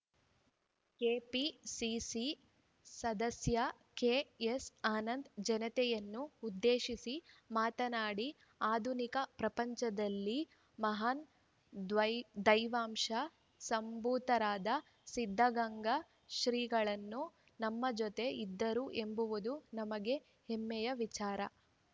KPCC ಸದಸ್ಯ KS Anand ಜನತೆಯನ್ನು ಉದ್ದೇಶಿಸಿ ಮಾತನಾಡಿ ಆಧುನಿಕ ಪ್ರಪಂಚದಲ್ಲಿ ಮಹಾನ್‌ ಧ್ವ್ಐ ದೈವಾಂಶ ಸಂಭೂತರಾದ ಸಿದ್ಧಗಂಗಾ ಶ್ರೀಗಳು ನಮ್ಮ ಜೊತೆ ಇದ್ದರು ಎಂಬುದು ನಮಗೆ ಹೆಮ್ಮೆಯ ವಿಚಾರ